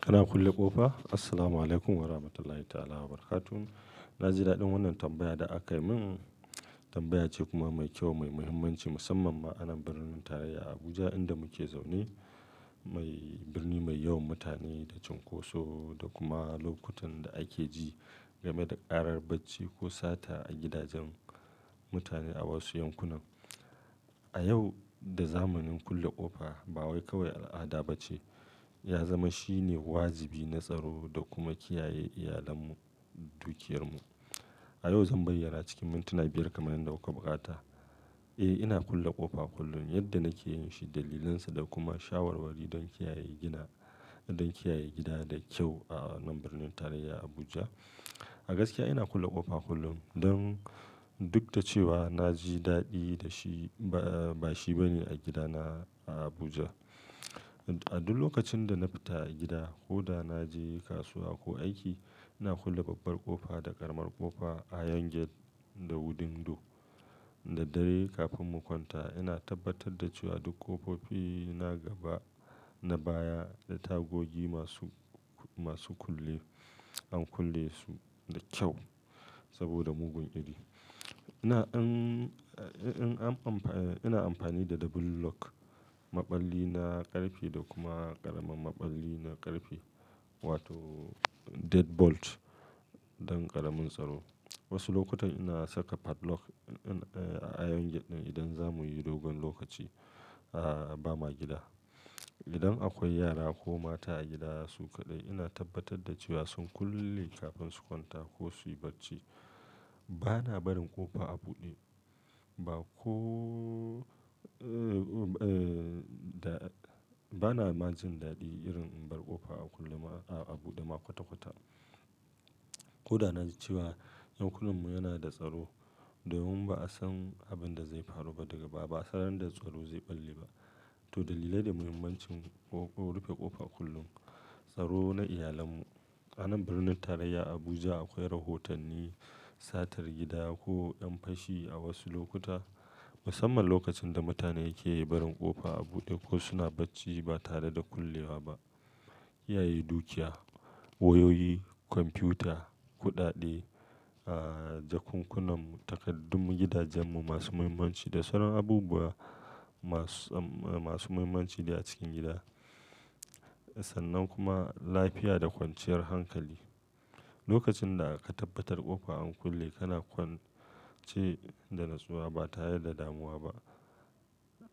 Kana kulle ƙofa? Assalamu Alaikum Warahmatullahi ta'ala wabarakatuh. Na ji daɗin wannan tambaya da aka yi min. Tambaya ce kuma mai kyau, mai muhimmanci musamman ma a nan birnin tarayya Abuja inda muke zaune. Birni mai yawan mutane da cunkoso da kuma lokutan da ake ji game da ƙarar bacci ko sata a gidajen mutane a wasu yankunan. A yau da zamanin kulle ƙofa ba wai kawai al'ada ba ce, ya zama shine wajibi, na tsaro da kuma kiyaye iyalanmu, dukiyarmu. A yau zan bayyana cikin mintuna biyar kamar yadda aka buƙata. Eh, ina kulle ƙofa kullum yadda nake yin shi, dalilinsa da kuma shawarwari don kiyaye gida, don kiyaye gida da kyau a nan birnin tarayya Abuja. A gaskiya ina kulle ƙofa kullum don duk da cewa na ji daɗi da shi, ba shi bane a gidana a Abuja. A duk lokacin da na fita a gida ko da na je kasuwa ko aiki, ina kulle babbar ƙofa da ƙaramar ƙofa a yangel da window. Da daddare kafin mu kwanta ina tabbatar da cewa duk ƙofofi na gaba, na baya da tagogi masu, masu kulle an kulle su da kyau saboda mugun iri. Ina ina amfani da double lock, maɓalli na ƙarfe da kuma ƙaramin maɓalli na ƙarfe wato dead bolt don ƙaramin tsaro. Wasu lokuta ina saka padlock a yangel ɗin idan za mu yi dogon lokaci ba ma gida. Idan akwai yara ko mata a gida su kaɗai, ina tabbatar da cewa sun kulle kafin su kwanta ko su yi bacci. Bana barin ƙofa a buɗe ba ko, eh, da bana ma jin daɗi irin in bar ƙofa a kulle ma a buɗe ma kwata-kwata. Ko da na ji cewa ɗakunan mu yana da tsaro domin ba a san abin da zai faru ba daga baya, ba a san inda tsaro zai ɓalle ba. To dalilai da muhimmancin rufe ƙofa kullum, tsaro na iyalarmu. A nan birnin tarayya Abuja akwai rahotanni satar gida ko ƴan fashi a wasu lokuta, musamman lokacin da mutane ke barin ƙofa a buɗe ko suna bacci ba tare da kullewa ba. Kiyaye dukiya, wayoyi, kwamfuta, kuɗaɗe, ah, jakunkunanmu, takaddun gidajenmu masu muhimmanci da sauran abubuwa masu, masu muhimmanci ne a cikin gida. Sannan kuma lafiya da kwanciyar hankali. Lokacin da aka tabbatar ƙofa an kulle, kana kwance da natsuwa ba tare da damuwa ba.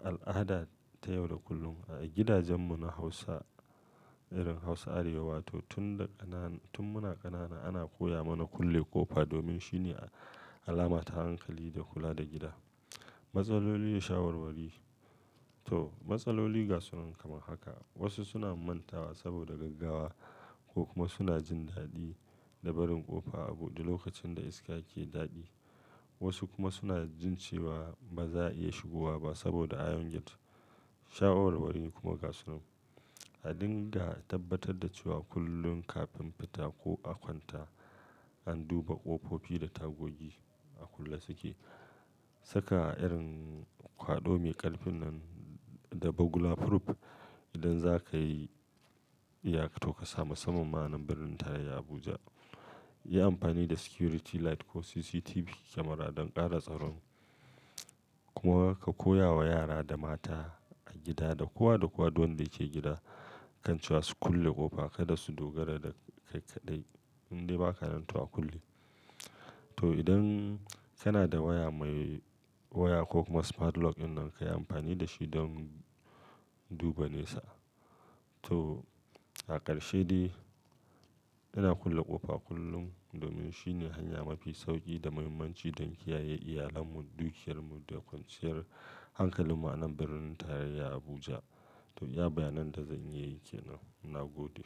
Al'ada ta yau da kullum a gidajenmu na Hausa, irin Hausa Arewa wato tun da ƙanana, tun muna ƙanana ana koya mana kulle ƙofa domin shi ne alama ta hankali da kula da gida. Matsaloli da shawarwari. To matsaloli ga sunan kamar haka. Wasu suna mantawa saboda gaggawa ko kuma suna jin daɗi da barin ƙofa a buɗe lokacin da iska ke daɗi, Wasu kuma suna jin cewa ba za a iya shigowa ba saboda yangel. Shawarwari kuma ga sunan. A dinga tabbatar da cewa kullum kafin fita ko a kwanta, an duba ƙofofi da tagogi a kulle suke. Saka irin kwaɗo mai ƙarfin nan da bugula proof idan za kai iya ka to ka sami, musamman ma a nan birnin tarayya Abuja. Yi amfani da security light ko CCTV camera don ƙara tsaron. Kuma ka koya wa yara da mata a gida da kowa da kowa duk wanda yake gida kan cewa su kulle ƙofa kada su dogara da kai kaɗai idan ba ka nan to a kulle. To idan kana da waya mai waya ko kuma smart lock ɗin nan kayi amfani da shi don duba nesa. To a ƙarshe dai, ina kulle ƙofa kullum domin shi ne hanya mafi sauƙi da muhimmanci don kiyaye iyalanmu, dukiyarmu da kwanciyar hankalinmu a nan birnin tarayya Abuja. To iya bayanan da zan iya yi ke nan. Ina gode.